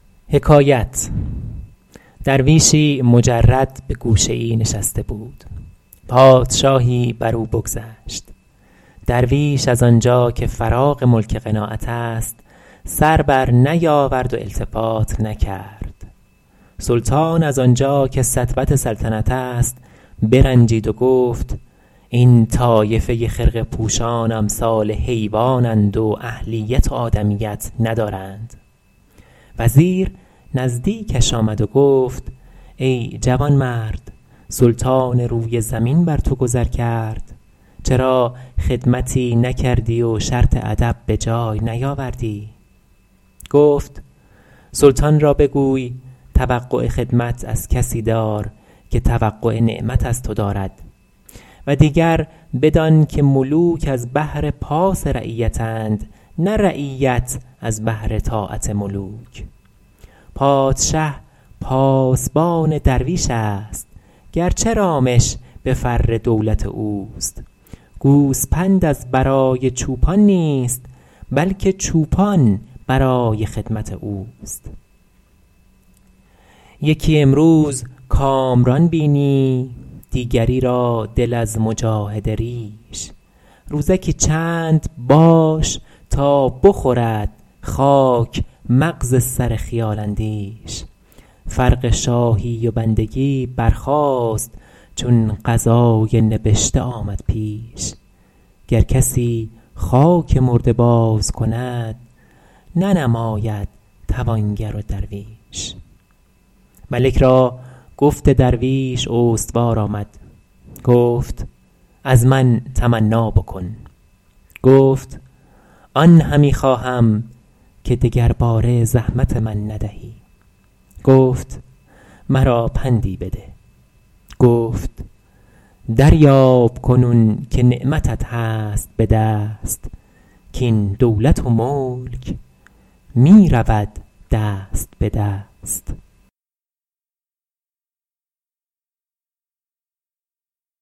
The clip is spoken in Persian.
درویشی مجرد به گوشه ای نشسته بود پادشاهی بر او بگذشت درویش از آنجا که فراغ ملک قناعت است سر بر نیاورد و التفات نکرد سلطان از آنجا که سطوت سلطنت است برنجید و گفت این طایفه خرقه پوشان امثال حیوان اند و اهلیت و آدمیت ندارند وزیر نزدیکش آمد و گفت ای جوانمرد سلطان روی زمین بر تو گذر کرد چرا خدمتی نکردی و شرط ادب به جای نیاوردی گفت سلطان را بگوی توقع خدمت از کسی دار که توقع نعمت از تو دارد و دیگر بدان که ملوک از بهر پاس رعیت اند نه رعیت از بهر طاعت ملوک پادشه پاسبان درویش است گرچه رامش به فر دولت اوست گوسپند از برای چوپان نیست بلکه چوپان برای خدمت اوست یکی امروز کامران بینی دیگری را دل از مجاهده ریش روزکی چند باش تا بخورد خاک مغز سر خیال اندیش فرق شاهی و بندگی برخاست چون قضای نبشته آمد پیش گر کسی خاک مرده باز کند ننماید توانگر و درویش ملک را گفت درویش استوار آمد گفت از من تمنا بکن گفت آن همی خواهم که دگرباره زحمت من ندهی گفت مرا پندی بده گفت دریاب کنون که نعمتت هست به دست کاین دولت و ملک می رود دست به دست